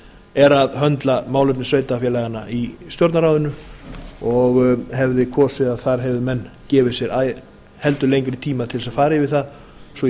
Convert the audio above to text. er að höndla málefni sveitarfélaganna í stjórnarráðinu og hefði komið að þar hefðu menn gefið sér heldur lengri tíma til þess að fara yfir það svo ég